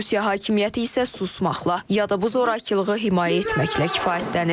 Rusiya hakimiyyəti isə susmaqla ya da bu zorakılığı himayə etməklə kifayətlənir.